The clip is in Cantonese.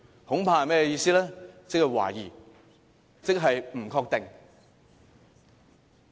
即是懷疑，即是不確定。